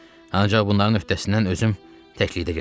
Ancaq bunların öhdəsindən özüm təklikdə gələcəm.